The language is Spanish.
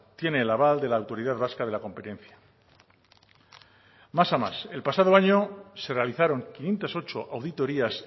tiene el aval de la autoridad vasca de la competencia más a más el pasado año se realizaron quinientos ocho auditorías